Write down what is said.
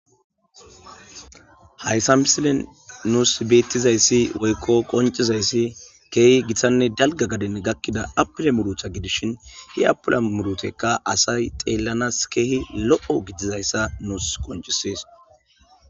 Hayssa misilen nuus beetizayssi woykko qonccizayssi keehi gitanne dalgga gaden gakkida appile muuruta gidishin he appile muurutaykka asay xeellanas keehi lo'o gidizayssa nus qonccisees.